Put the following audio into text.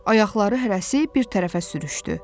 Ayaqları hərəsi bir tərəfə sürüşdü.